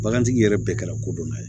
Bagantigi yɛrɛ bɛɛ kɛra kodɔnna ye